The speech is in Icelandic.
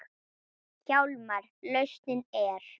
Hjálmar lausnin er.